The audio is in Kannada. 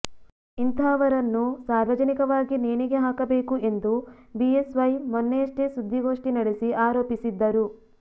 ಇಂತಹವರನ್ನು ಸಾರ್ವಜನಿಕವಾಗಿ ನೇಣಿಗೆ ಹಾಕಬೇಕು ಎಂದು ಬಿಎಸ್ ವೈ ಮೊನ್ನೆಯಷ್ಟೇ ಸುದ್ದಿಗೋಷ್ಠಿ ನಡೆಸಿ ಆರೋಪಿಸಿದ್ದರು